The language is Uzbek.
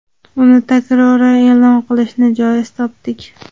uni takroran e’lon qilishni joiz topdik.